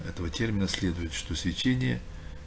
этого термина следует что сечение